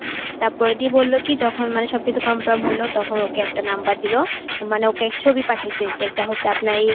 তারপরে দিয়ে বলল কি যখন মানে সবকিছু confirm হল তখন ওকে একটা number দিল. মানে ওকে ছবি পাঠাইছে যেটা হচ্ছে আপনার এই